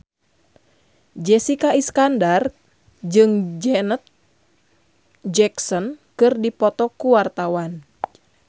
Jessica Iskandar jeung Janet Jackson keur dipoto ku wartawan